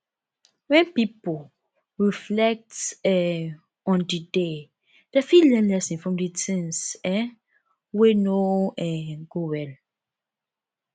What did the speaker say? when pipo reflect um on di day dem fit learn lesson from di things um wey no um go well